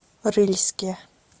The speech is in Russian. рыльске